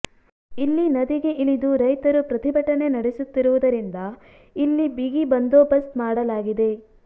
ಇಲ್ಲಿ ನದಿಗೆ ಇಳಿದು ರೈತರು ಪ್ರತಿಭಟನೆ ನಡೆಸುತ್ತಿರುವುದರಿಂದ ಇಲ್ಲಿ ಬಿಗಿ ಬಂದೋಬಸ್ತ್ ಮಾಡಲಾಗಿದೆ